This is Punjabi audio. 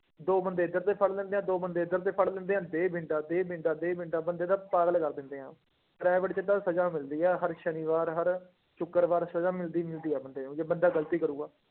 ਦੋ ਬੰਦੇ ਇੱਧਰ ਦੇ ਫੜ ਲੈਂਦੇ ਹੈ ਦੋ ਬੰਦੇ ਇੱਧਰ ਦੇ ਫੜ ਲੈਂਦੇ ਹੈ, ਦੇ ਡੰਡਾ, ਦੇ ਡੰਡਾ, ਦੇ ਡੰਡਾ ਬੰਦੇ ਦਾ ਪਾਗਲ ਕਰ ਦਿੰਦੇ ਹੈ private ਚ ਤਾਂ ਸਜ਼ਾ ਮਿਲਦੀ ਹੈ ਹਰ ਸ਼ਨੀਵਾਰ, ਹਰ ਸ਼ੁਕਰਵਾਰ ਸਜ਼ਾ ਮਿਲਦੀ ਮਿਲਦੀ ਹੈ ਬੰਦੇ ਨੂੰ ਜੇ ਬੰਦਾ ਗ਼ਲਤੀ ਕਰੇਗਾ।